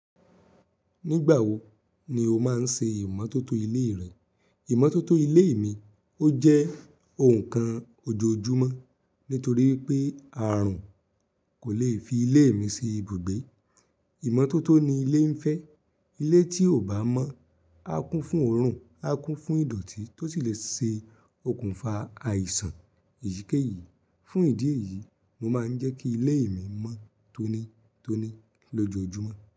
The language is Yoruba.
Nígbà wo ni o máa ń ṣe ìmọ́tótó ilé rẹ? Ìmọ́tótó ilé mi ó jẹ́ ohun kan ojoojúmọ́ nítorí pé àrùn kò lè fi ilé mi sí ibùgbé. Ìmọ́tótó ni ilé ń fẹ́. Ilé tí ò bá mọ́, á kún fún òrùn, á kún fún ìdọ̀tí tó sì lè ṣe okùnfà àìsàn. Èyìkeyìí, fún ìdí èyí, mo máa ń jẹ́ kí ilé mi mọ́ tónítóní lọjoojúmọ́